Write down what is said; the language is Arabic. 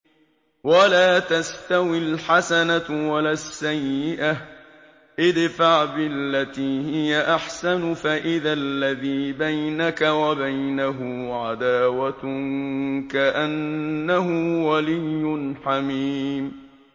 وَلَا تَسْتَوِي الْحَسَنَةُ وَلَا السَّيِّئَةُ ۚ ادْفَعْ بِالَّتِي هِيَ أَحْسَنُ فَإِذَا الَّذِي بَيْنَكَ وَبَيْنَهُ عَدَاوَةٌ كَأَنَّهُ وَلِيٌّ حَمِيمٌ